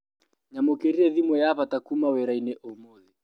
Nyamũkĩrire thimũ ya bata kuma wĩrainĩ ũmũthĩ.